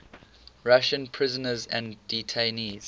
russian prisoners and detainees